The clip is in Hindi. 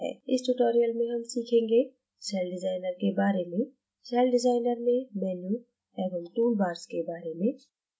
इस tutorial में हम सीखेंगे : सेलडिज़ाइनर के bars में सेलडिज़ाइनर में मेनू एवं टूल bars के bars में